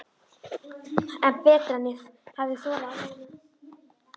Betra en ég hafði þorað að vona